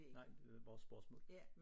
Nej det var bare spørgsmål